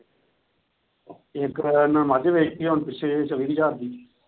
ਇੱਕ ਇੰਨਾ ਨੇ ਮੱਝ ਬੇਚਤੀ ਆ ਹੁਣ ਪਿੱਛੇ ਛੱਬੀ ਕਿ ਹਜ਼ਾਰ ਦੀ।